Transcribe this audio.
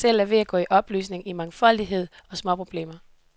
Magten selv er ved at gå i opløsning i mangfoldighed og småproblemer.